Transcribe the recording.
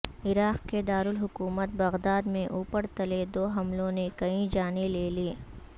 عراق کے دارالحکومت بغداد میں اوپر تلے دو حملوں نے کئی جانیں لے لیں